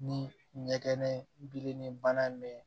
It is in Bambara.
Ni ɲɛgɛn bilenni bana m